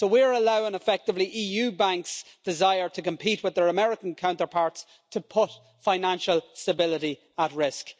So we are allowing, effectively, EU banks' desire to compete with their American counterparts to put financial stability at risk.